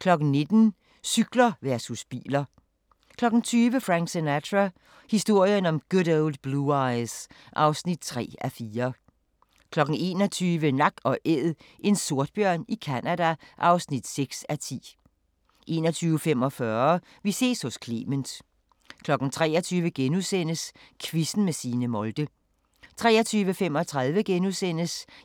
19:00: Cykler versus biler 20:00: Frank Sinatra – historien om Good Old Blue Eyes (3:4) 21:00: Nak & Æd – en sortbjørn i Canada (6:10) 21:45: Vi ses hos Clement 23:00: Quizzen med Signe Molde * 23:35: